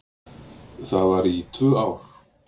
Það var í tvö ár.